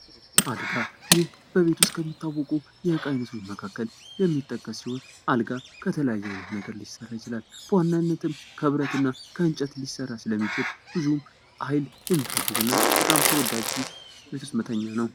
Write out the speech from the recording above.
አልጋ ይህ ከቤት ውስጥ ከሚታወቁ እቃ አይነቶች መካከል የሚጠቀስ ሲሆን አልጋ ከተለያየ አይነት ነገር ሊሰራ ይችላል። በዋናነትም ከብረትና ከእንጨት ሊሰራ ስለሚችል ብዙ ኃይል የሚፈልግና በጣም ተወዳጅ የቤት ውስጥ መተኛ ነው።